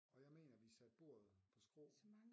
Og jeg mener vi satte bordet på skrå